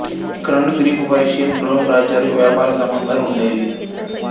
ఇక్కడ నుండి Greek Persian Rome రాజ్యాలకు వ్యాపార సంబంధాలు ఉండేవి